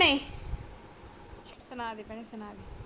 ਸੁਣਾ ਦੇ ਭੈਣੇ ਸੁਣਾ